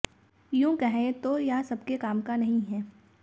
यूंह कहें तो यह सबके काम का नहीं है